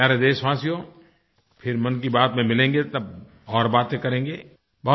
मेरे प्यारे देशवासियो फिर मन की बात में मिलेंगे तब और बातें करेंगे